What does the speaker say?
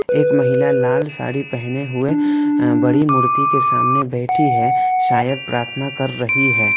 एक महिला लाल साड़ी पहने हुए अ बड़ी मूर्ति के सामने बैठी है शायद प्रार्थना कर रही है।